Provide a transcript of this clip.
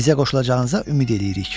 Bizə qoşulacağınıza ümid eləyirik.